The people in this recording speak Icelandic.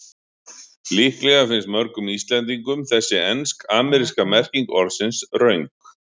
Líklega finnst mörgum Íslendingum þessi ensk-ameríska merking orðsins röng.